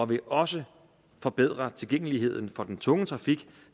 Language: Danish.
vil også forbedre tilgængeligheden for den tunge trafik